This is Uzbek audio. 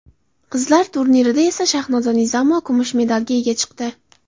Qizlar turnirida esa Shahnoza Nizomova kumush medalga ega chiqdi.